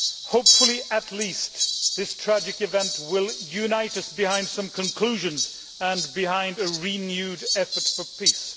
Hopefully, this tragic event will at least unite us behind some conclusions and behind a renewed effort for peace.